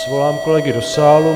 Svolám kolegy do sálu.